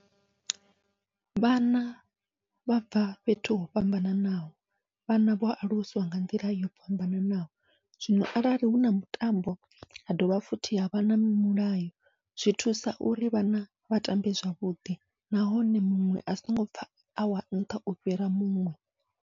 Vhana vha bva fhethu ho fhambananaho, vhana vho aluswa nga nḓila yo fhambananaho zwino arali huna mutambo ha dovha futhi havha na mulayo, zwi thusa uri vhana vha tambe zwavhuḓi. Nahone muṅwe a songo pfha awa nṱha u fhira muṅwe.